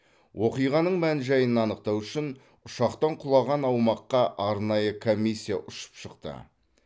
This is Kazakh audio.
оқиғаның мән жайын анықтау үшін ұшақтың құлаған аумаққа арнайы комиссия ұшып шықты